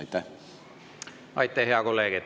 Aitäh, hea kolleeg!